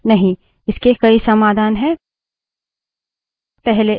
नहीं इसके कई समाधान हैं